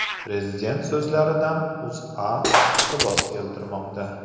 Prezident so‘zlaridan O‘zA iqtibos keltirmoqda .